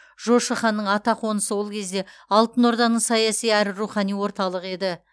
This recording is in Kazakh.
жошы ханның атақонысы ол кезде алтын орданың саяси әрі рухани орталығы еді